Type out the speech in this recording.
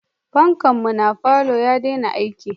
Fankar mu na falo ya dena aiki